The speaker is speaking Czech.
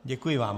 Děkuji vám.